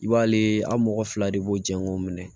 I b'a ye a mɔgɔ fila de b'o jango minɛ